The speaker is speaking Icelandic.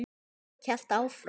Sólborg hélt áfram.